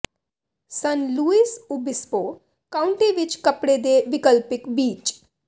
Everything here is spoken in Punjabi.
ਸਨ ਲੁਈਸ ਓਬਿਸਪੋ ਕਾਊਂਟੀ ਵਿੱਚ ਕੱਪੜੇ ਦੇ ਵਿਕਲਪਿਕ ਬੀਚ